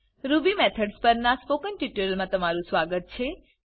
Ruby Methodsપર ના spoken ટ્યુટોરીયલમા તમારુ સ્વાગત છે